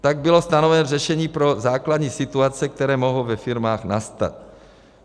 Tak bylo stanoveno řešení pro základní situace, které mohou ve firmách nastat.